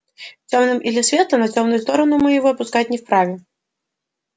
тёмным или светлым на тёмную сторону мы его отпускать не вправе